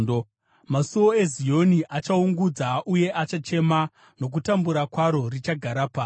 Masuo eZioni achachema uye achaungudza; nokutambura kwaro, richagara pasi.